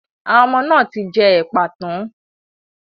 Àwọn ọmọ náà ti jẹ ẹ̀pà tán.